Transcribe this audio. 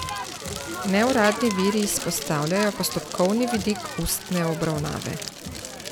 Neuradni viri izpostavljajo postopkovni vidik ustne obravnave.